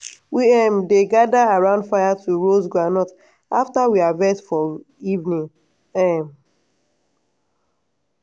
we um dey gather around fire to roast groundnut after we harvest for evening. um